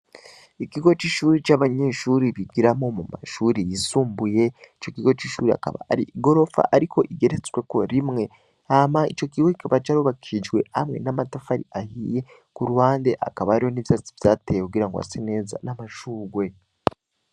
Igigo c'ishuri c'abanyeshuri bigiramo mu mashuri yisumbuye ico gigo c'ishuri akaba ari i gorofa, ariko igeretsweko rimwe ama ico giwe kikaba carubakijwe hamwe n'amatafari ahiye ku rubande akaba ariho n'ivyatsi vyateye kugira ngo ase neza n'amashuwe.